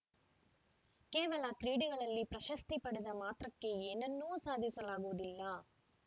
ಕೇವಲ ಕ್ರೀಡೆಗಳಲ್ಲಿ ಪ್ರಶಸ್ತಿ ಪಡೆದ ಮಾತ್ರಕ್ಕೆ ಏನನ್ನೂ ಸಾಧಿಸಲಾಗುವುದಿಲ್ಲ